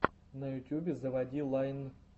на ютюбе заводи лайн